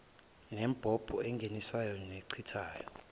nembobo engenisayo nechithayo